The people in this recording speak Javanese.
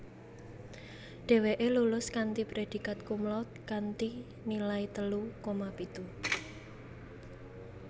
Dheweke lulus kanthi predikat cumlaude kanthi nilai telu koma pitu